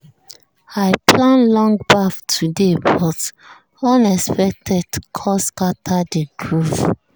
i plan long baff today but unexpected call scatter the groove.